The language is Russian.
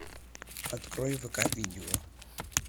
открой вк видео